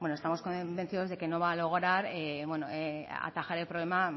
estamos convencidos de que no va a lograr atajar el problema